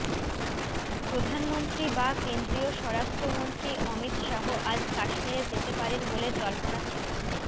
প্রধানমন্ত্রী বা কেন্দ্রীয় স্বরাষ্ট্রমন্ত্রী অমিত শাহ আজ কাশ্মীরে যেতে পারেন বলে জল্পনা ছিল